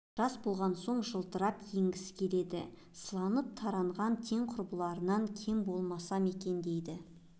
жас болған соң жылтырап киінгісі келеді сыланып-таранған тең құрбыларынан кем болмасам екен дейді